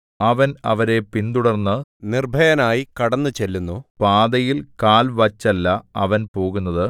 അവൻ അവരെ പിന്തുടർന്നു നിർഭയനായി കടന്നു ചെല്ലുന്നു പാതയിൽ കാൽ വച്ചല്ല അവൻ പോകുന്നത്